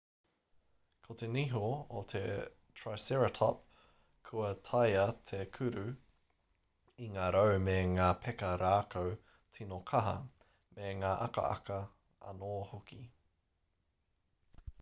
ko te niho o te triceratop kua taea te kuru i ngā rau me ngā peka rākau tīno kaha me ngā akaaka anō hoki